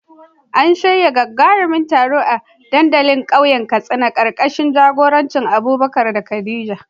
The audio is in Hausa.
A shirya gagarumin taro a dandalin kauyen Katsina, karkashin jagorancin Abubakar da Khadija.